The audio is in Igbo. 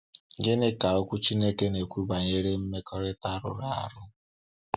Gịnị ka Okwu Chineke na-ekwu banyere mmekọahụ rụrụ arụ?